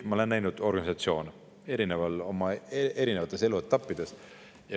Ma olen näinud organisatsioone oma elu eri etappides.